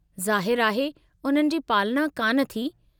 ज़ाहिरु आहे , उन्हनि जी पालना कान थी।